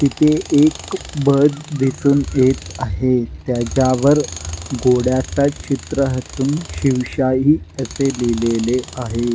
तिथे एक बस दिसून येत आहे त्याच्यावर घोड्याच चित्रा असून शिवशाही असे लिहिलेले आहे.